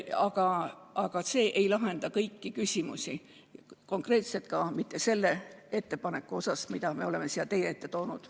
Ent see ei lahenda kõiki küsimusi, konkreetselt ka mitte selles eelnõus toodud probleeme, mille me oleme siia teie ette toonud.